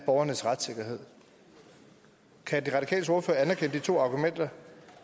borgernes retssikkerhed kan de radikales ordfører anerkende de to argumenter